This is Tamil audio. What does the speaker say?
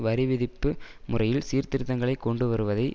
வரிவிதிப்பு முறையில் சீர்திருத்தங்களை கொண்டுவருவதை